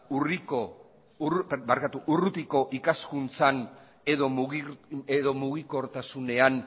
urrutiko ikaskuntzan edo mugikortasunean